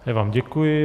Já vám děkuji.